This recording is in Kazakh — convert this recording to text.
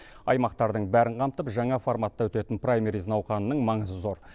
аймақтардың бәрін қамтып жаңа форматта өтетін праймериз науқанының маңызы зор